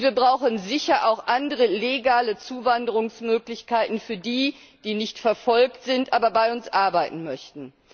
Wir brauchen sicher auch andere legale Zuwanderungsmöglichkeiten für die, die nicht verfolgt sind, aber bei uns arbeiten möchten.